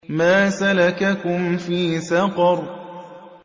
مَا سَلَكَكُمْ فِي سَقَرَ